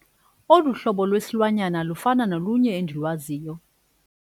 Olu hlobo lwesilwanyana lufana nolunye endilwaziyo.